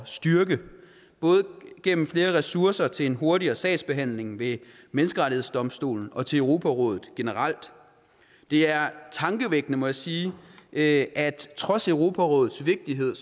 styrke både gennem flere ressourcer til en hurtigere sagsbehandling ved menneskerettighedsdomstolen og til europarådet generelt det er tankevækkende må jeg sige at trods europarådets vigtighed